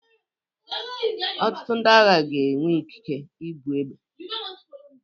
Ọtụtụ ndị agha ga-enwe ikike ibu egbe.